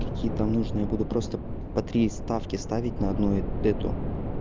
какие там нужно я буду просто по три ставки ставить на одну эту